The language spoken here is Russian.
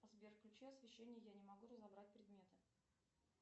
сбер включи освещение я не могу разобрать предметы